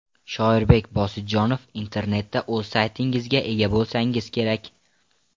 Shoirbek Bosidjonov Internetda o‘z saytingizga ega bo‘lsangiz kerak.